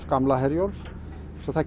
gamla Herjólf svo það